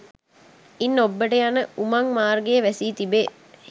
ඉන් ඔබ්බට යන උමං මාර්ගය වැසී තිබේ